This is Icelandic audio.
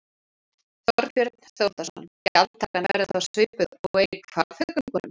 Þorbjörn Þórðarson: Gjaldtakan verður þá svipuð og er í Hvalfjarðargöngum?